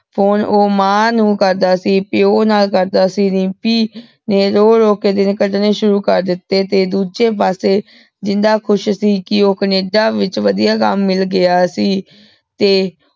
Phone ਊ ਮਾਂ ਨੂ ਕਰਦਾ ਸੀ ਪਯੋ ਨਾਲ ਕਰਦਾ ਸੀ ਰਿਮਪੀ ਨੇ ਰੋ ਰੋ ਕੇ ਸ਼ੁਰੂ ਕਰ ਦਿਤੇ ਤੇ ਦੂਜੇ ਪਾਸੇ ਜਿੰਦਾ ਖੁਸ ਸੀ ਕ ਓ ਕੈਨੇਡਾ ਵਿਚ ਵਧੀਆ ਕਮ ਗਿਆ ਸੀ ਤੇ